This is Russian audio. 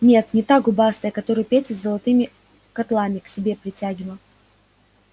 нет не та губастая которую петя золотыми котлами к себе притягивал